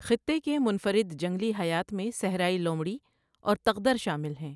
خطے کے منفرد جنگلی حیات میں صحرائی لومڑی اور تغدر شامل ہیں۔